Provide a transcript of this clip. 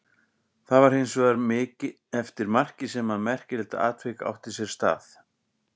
Það var hins vegar eftir markið sem að merkilegt atvik átti sér stað.